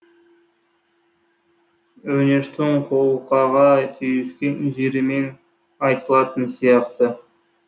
өңештің қолқаға түйіскен жерімен айтылатын сияқты